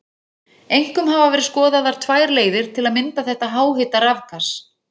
Einkum hafa verið skoðaðar tvær leiðir til að mynda þetta háhita rafgas.